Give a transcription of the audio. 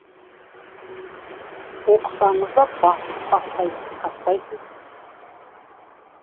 оқысаңыз да басып бастайсыз тастайсыз